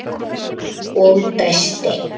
Og dæsti.